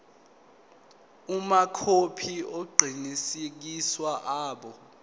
amakhophi aqinisekisiwe abo